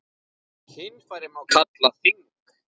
Kynfæri má kalla þing.